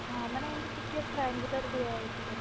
ହଁ ମାନେ ଏମିତି ଟିକେ triangular ଭଳିଆ ହେଇକି ରହିଛି